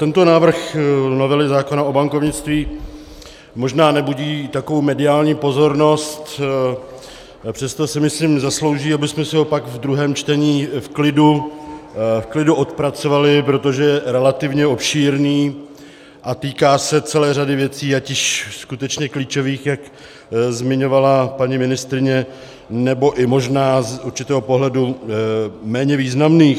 Tento návrh novely zákona o bankovnictví možná nebudí takovou mediální pozornost, přesto si myslím zaslouží, abychom si ho pak v druhém čtení v klidu odpracovali, protože je relativně obšírný a týká se celé řady věcí, ať již skutečně klíčových, jak zmiňovala paní ministryně, nebo i možná z určitého pohledu méně významných.